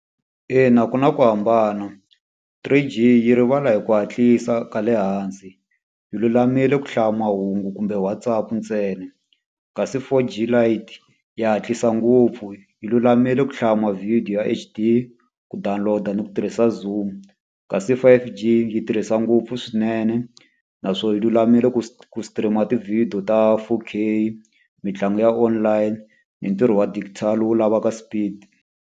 Ina ku na ku hambana. Three G yi rivala hi ku hatlisa ka le hansi, yi lulamile ku hlaya mahungu kumbe WhatsApp ntsena. Kasi four G lite ya hatlisa ngopfu, yi lulamile ku hlaya ma-video ya H_D, ku download-a ni ku tirhisa zoom. Kasi five G yi tirhisa ngopfu swinene, naswona yi lulamile ku stream-a tivhidiyo ta four K, mitlangu ya online, ni ntirho wa digital wu lavaka speed.